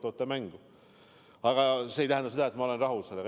Kuid see ei tähenda, et ma olen rahul.